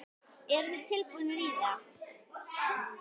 Eru þið tilbúnir í það?